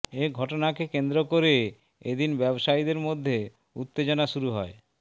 এই ঘটনাকে কেন্দ্র করে এদিন ব্যবসায়ীদের মধ্যে উত্তেজনা শুরু হয়